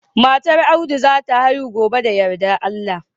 Matar Audu za ta haihu gobe da yardar Allah